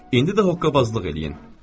İndi də hoqqabazlıq eləyin.